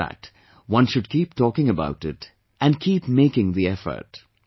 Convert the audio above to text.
Despite that, one should keep talking about it, and keep making the effort